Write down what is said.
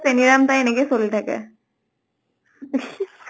চেনীৰাম তাই এনেকে চলি থাকে ।